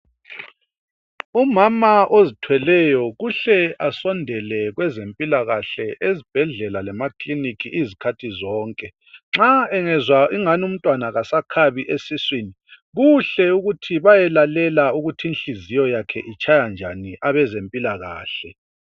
Umama ozithweleyo kuhle asondele kwezempilakahle ezibhedlela lemakilinika izikhathi zonke. Nxa engezwa ingani umntwana kasakhabi esiswini kuhle ukuthi bayelalela ukuthi inhliziyo yakhe itshaya njani abezempilakahle.